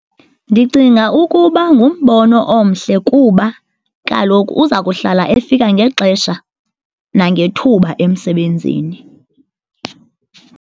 Ndicinga ukuba ngumbono omhle kuba kaloku uza kuhlala efika ngexesha nangethuba emsebenzini.